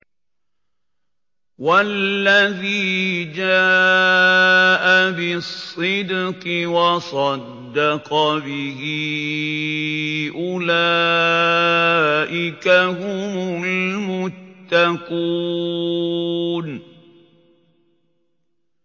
وَالَّذِي جَاءَ بِالصِّدْقِ وَصَدَّقَ بِهِ ۙ أُولَٰئِكَ هُمُ الْمُتَّقُونَ